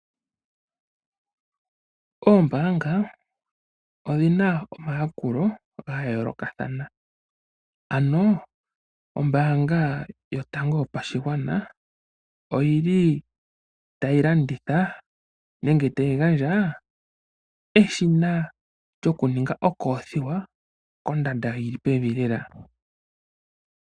Oombaanga odhina omayakulo ga yoolokathana, ano ombaanga yo tango yo pashingwana oyi li tayi landitha nenge ta yi gandjaa eshina lyokuninga okoothiwa kondando yi li pevi lela.